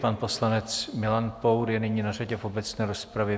Pan poslanec Milan Pour je nyní na řadě v obecné rozpravě.